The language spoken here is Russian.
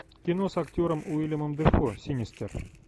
кино с актером уильямом дефо синистер